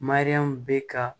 bɛ ka